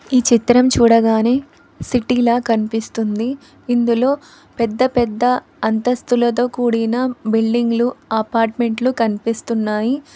ఈ చిత్రం చూడగానే సిటీల కనిపిస్తుంది ఇందులో పెద్ద పెద్ద అంతస్తులతో కూడిన బిల్డింగులు అపార్ట్మెంట్లు కనిపిస్తున్నాయి.